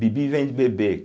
Bibi vem de bebê.